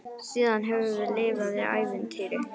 Síðan höfum við lifað í ævintýri.